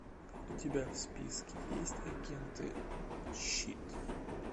у тебя в списке есть агенты щит